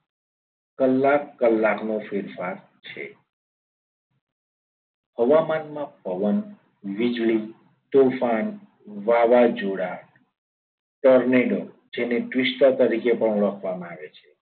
કલાક કલાકનો ફેરફાર છે હવામાનમાં પવન વીજળી તુફાન વાવાઝોડા tornado જેને twister તરીકે ઓળખવામાં પણ આવે છે.